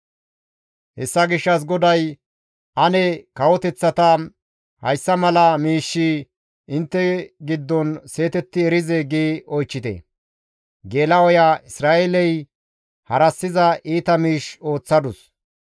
Hessa gishshas GODAY, «Ane kawoteththata, ‹Hayssa mala miishshi intte giddon seetetti erizee?› gi oychchite. Geela7oya Isra7eeley harassiza iita miish ooththadus.